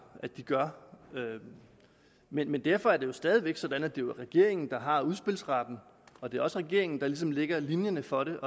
at de gør men derfor er det jo stadig væk sådan at det er regeringen der har udspilsretten og det er også regeringen der ligesom lægger linjerne for det